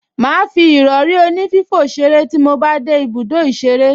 Màá fi ìrọrí onífífò ṣeré tí mo bá dé ibùdó ìṣeré